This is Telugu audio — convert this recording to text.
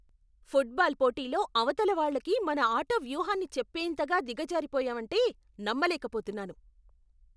ఫుట్బాల్ పోటీలో అవతల వాళ్ళకి మన ఆట వ్యూహాన్ని చెప్పేంతగా దిగజారిపోయావంటే నమ్మలేకపోతున్నాను.